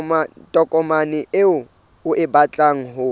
tokomane eo o batlang ho